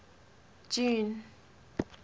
june